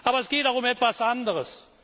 Aber es geht auch um etwas anderes.